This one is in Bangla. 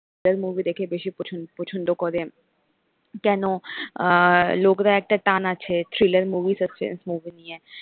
thriller movie দেখে বেশি পছন পছন্দ করে কেন আহ লোকরা একটা টান আছে thriller movies আছে movie নিয়ে,